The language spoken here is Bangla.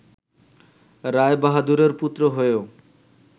রায়বাহাদুরের পুত্র হয়েও